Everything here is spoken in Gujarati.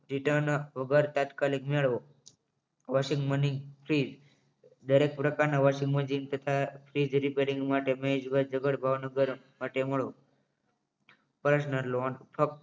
Return વગર તાત્કાલિક મેળવો વસુલ ફી દરેક પ્રકારના washing machine તથા ફ્રીજ repairing માટે મહેશભાઈ જબ્બર ભાવનગર માટે મળો personal loan ફક્ત